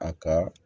A ka